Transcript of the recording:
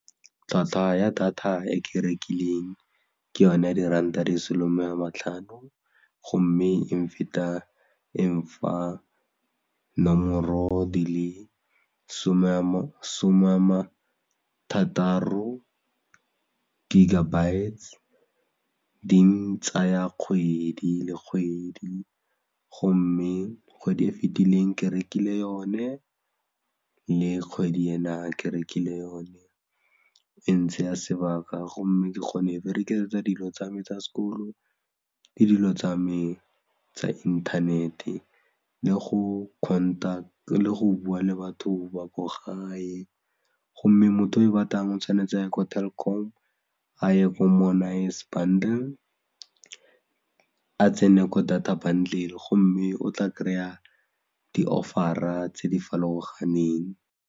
Tlhwatlhwa ya data e ke e rekileng ke yone ya diranta di le 'some a matlhano gomme e feta e mpha nomoro di le 'some a ma thataro gigabytes di ntsaya kgwedi le kgwedi gomme kgwedi e fetileng ke rekile yone le kgwedi ena ke rekile yone e ntseya sebaka gomme ke kgone go e berekisetsa dilo tsa me tsa sekolo le dilo tsa me tsa inthanete le go kgonta le go bua le batho ba ko gae gomme motho o e batlang o tshwanetse aye ko Telkom, a ye ko more nice bundle a tsene ko data bundle gomme o tla kry-a di-offer-a tse di farologaneng.